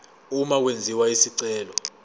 uma kwenziwa isicelo